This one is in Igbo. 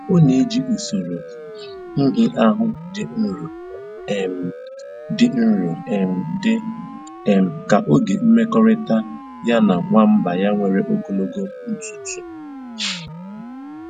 Ọ na eji usoro nhịahụ dị nro um dị nro um dị um ka oge mmekọrịta ya na nwamba ya nwere ogologo ntụtụ um